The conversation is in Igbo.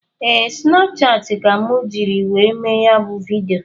Ee, Snapchati ka mụ jiri wee mee ya bụ vidịo